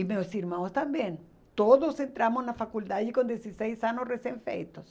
E meus irmãos também, todos entramos na faculdade com dezesseis anos recém-feitos.